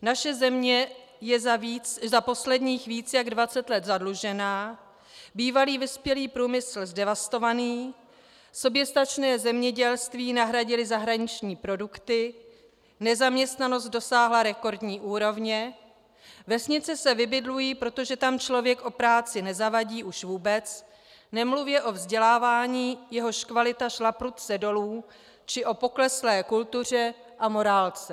Naše země je za posledních více jak 20 let zadlužena, bývalý vyspělý průmysl zdevastovaný, soběstačné zemědělství nahradily zahraniční produkty, nezaměstnanost dosáhla rekordní úrovně, vesnice se vybydlují, protože tam člověk o práci nezavadí už vůbec, nemluvě o vzdělávání, jehož kvalita šla prudce dolů, či o pokleslé kultuře a morálce.